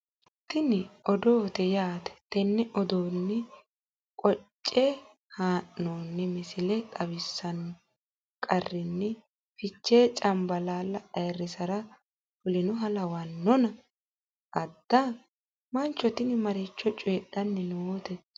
tini odoote yaate tenne odoonni qoce haa'noonni misile xawissanno qarinni fichee cambalaalla ayiirrisara fulinoha lawannona ? adda? mancho tini maricho coyiidhanni noote?